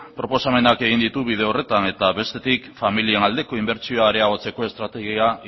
proposamenak egin ditu bide horretan eta bestetik familien aldeko inbertsio areagotzeko estrategia